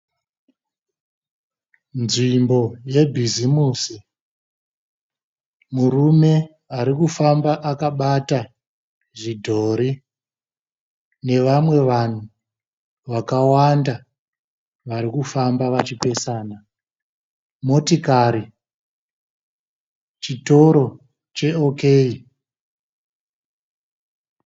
Nzvimbo yebhizimusi. Murume arikufamba akabata zvidhori nevamwe vanhu vakawanda varikufamba vachipesana. Motikari chitoro cheOK.